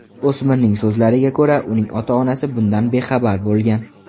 O‘smirning so‘zlariga ko‘ra, uning ota-onasi bundan bexabar bo‘lgan.